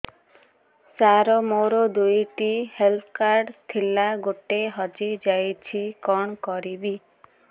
ସାର ମୋର ଦୁଇ ଟି ହେଲ୍ଥ କାର୍ଡ ଥିଲା ଗୋଟେ ହଜିଯାଇଛି କଣ କରିବି